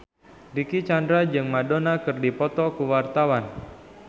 Dicky Chandra jeung Madonna keur dipoto ku wartawan